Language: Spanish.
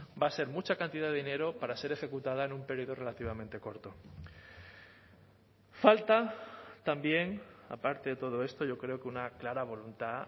va a ser mucha cantidad de dinero para ser ejecutada en un periodo relativamente corto falta también aparte de todo esto yo creo que una clara voluntad